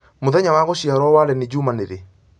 mũthenya wa gũciarwo wa lenny juma nĩrĩ